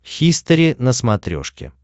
хистори на смотрешке